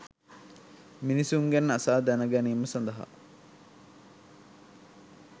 මිනිසුන්ගෙන් අසා දැන ගැනීම සඳහා